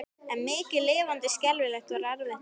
En mikið lifandis skelfing var erfitt að sofna.